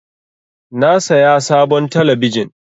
Na saya sabon talabijin.